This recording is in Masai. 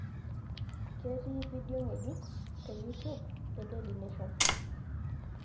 ketii vidioi ngejiko te youtube e dailiy nation